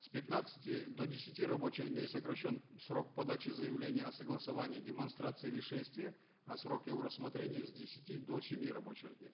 с пятнадцати до десяти рабочих дней сокращен срок подачи заявления о согласовании демонстрации или шествия а срок его рассмотрения с десяти до семи рабочих дней